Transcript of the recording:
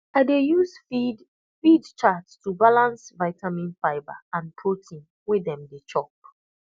i dey use feed feed chart to balance vitamin fibre and protein wey dem dey chop